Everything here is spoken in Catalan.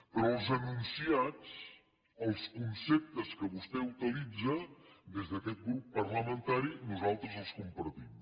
però els enunciats els conceptes que vostè utilitza des d’aquest grup parlamentari nosaltres els compartim